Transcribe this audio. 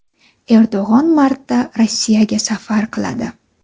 Erdo‘g‘on martda Rossiyaga safar qiladi.